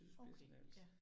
Okay, ja